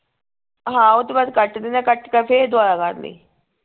ਹਾਂ ਓਹਤੋਂ ਬਾਅਦ ਕੱਟ ਦੇਣਾ ਕੱਟ ਕੇ ਫੇਰ ਦੁਆਰਾ ਕਰ ਲਈ